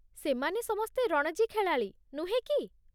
ସେମାନେ ସମସ୍ତେ ରଣଜୀ ଖେଳାଳି, ନୁହେଁ କି?